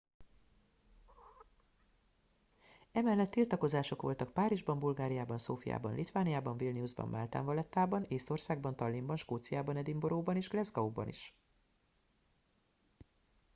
emellett tiltakozások voltak párizsban bulgáriában szófiában litvániában vilniusban máltán valettában észtországban tallinnban skóciában edinburgh ban és glasgow ban is